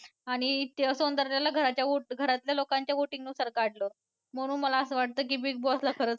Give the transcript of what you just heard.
आणि सौंदर्याला घरातल्या लोकांच्या voting नुसार काढलं म्हणून मला असं वाटतं की Big Boss खरंच